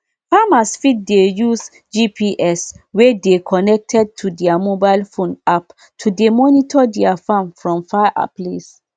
farmers fit dey use gps wey dey connected to their mobile phone app take dey monitor their farm from far place